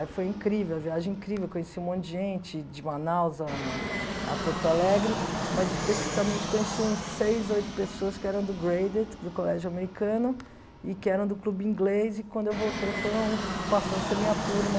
Aí foi incrível, a viagem incrível, conheci um monte de gente, de Manaus a a Porto Alegre, mas especificamente conheci uns seis, oito pessoas que eram do Graded, do colégio americano, e que eram do clube inglês, e quando eu voltei foram, passou a ser minha turma,